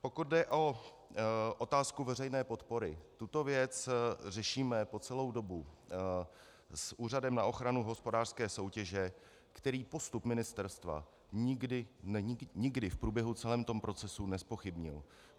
Pokud jde o otázku veřejné podpory, tuto věc řešíme po celou dobu s Úřadem na ochranu hospodářské soutěže, který postup ministerstva nikdy v průběhu celého toho procesu nezpochybnil.